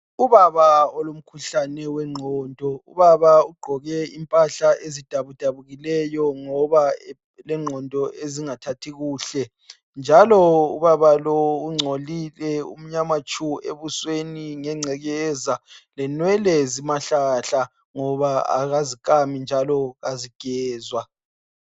Ubaba olomkhuhlane wenqondo ubaba ugqoke impahla ezidabudabukileyo ngoba elengqondo ezingathathi kuhle njalo ubaba lo ungcolile umnyama tshu emehlweni ngengcekeza lenwele zimahlahla ngoba kazi kami njalo azigezwa